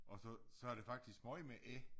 Og så så er det faktisk meget med æ